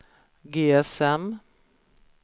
GSM